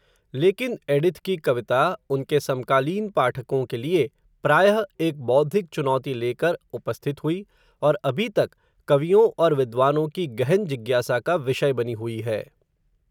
लेकिन, एडिथ की कविता, उनके समकालीन पाठकों के लिए, प्रायः, एक बौद्धिक चुनौती लेकर, उपस्थित हुई, और अभी तक, कवियों और विद्वानों की गहन जिज्ञासा का, विषय बनी हुई है